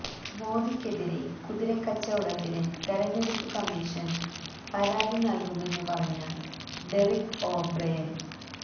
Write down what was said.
മോദിക്കെതിരെ കുതിരക്കച്ചവടത്തിന് തെരഞ്ഞെടുപ്പ് കമ്മീഷന് പരാതി നൽകുമെന്ന് പറഞ്ഞ ഡെറിക് ഓ ബ്രയൻ